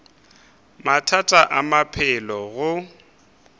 mathata a maphelo a go